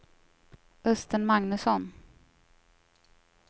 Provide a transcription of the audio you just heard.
Östen Magnusson